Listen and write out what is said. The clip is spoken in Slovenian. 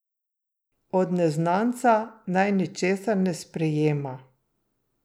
Od neznanca naj ničesar ne sprejema.